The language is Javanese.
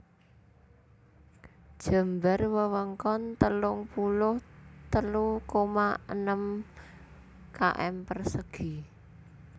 Jembar wewengkon telung puluh telu koma enem km persegi